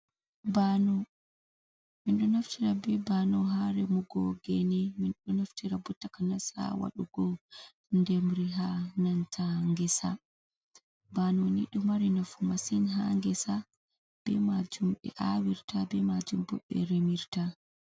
Bano: Min ɗo naftira be bano ha remugo gene, minɗo naftira bo takanas ha waɗugo ndemri ha nanta ngesa Bano ni ɗo mari nafu masin ha ngesa be majum be awirta, be majum bo ɓe remirta.